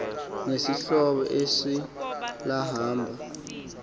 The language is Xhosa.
nesihlobo eso lahamba